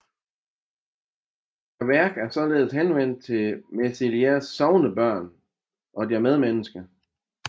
Værket er således henvendt til Mesliers sognebørn og deres medmennesker